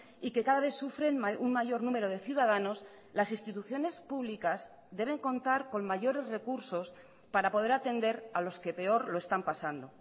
y que cada vez sufren un mayor número de ciudadanos las instituciones públicas deben contar con mayores recursos para poder atender a los que peor lo están pasando